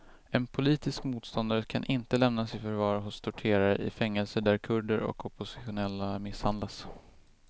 En politisk motståndare kan inte lämnas i förvar hos torterare i fängelser där kurder och oppositionella misshandlas.